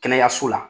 Kɛnɛyaso la